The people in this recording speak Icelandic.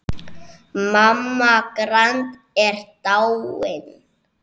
Mamma Grand er dáin.